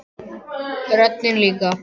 Röddin líka.